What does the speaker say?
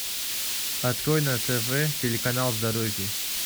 открой на тв телеканал здоровье